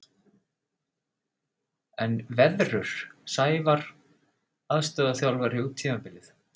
En veðrur Sævar aðstoðarþjálfari út tímabilið?